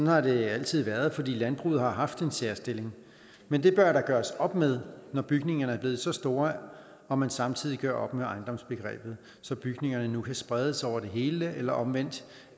har det altid været fordi landbruget har haft en særstilling men det bør der gøres op med når bygningerne er blevet så store og man samtidig gør op med ejendomsbegrebet så bygningerne nu kan spredes over det hele eller omvendt